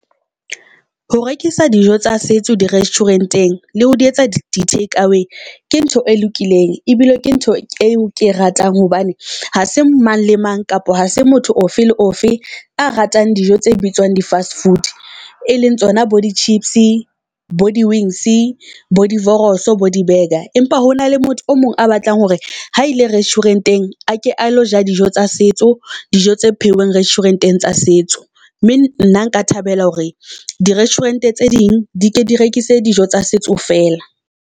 Ho rekisa dijo tsa setso di restaurant-eng le ho di etsa di-take away ke ntho e lokileng ebile ke ntho eo ke ratang, hobane ha se mang le mang kapa ha se motho ofe le ofe a ratang dijo tse bitswang di fast food. E leng tsona bo di-chips, bo di-wings, bo di-wors, bo di-burger. Empa hona le motho o mong a batlang hore ha ile restuarant-eng a ke a lo ja dijo tsa setso, dijo tse pheuweng restaurant-eng tsa setso. Mme nna nka thabela hore di resturant-e tse ding di ke di rekise dijo tsa setso fela.